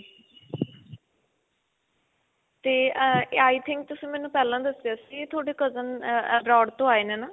ਤੇ uh i think ਤੁਸੀਂ ਮੈਨੂੰ ਪਹਿਲਾਂ ਦੱਸਿਆ ਸੀ. ਤੁਹਾਡੇ cousin ਏਏ abroad to ਆਏ ਨੇ ਨਾਂ?